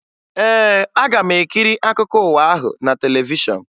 Ee, aga m ekiri akụkọ ụwa ahụ na televishọn